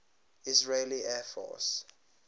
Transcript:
israeli air force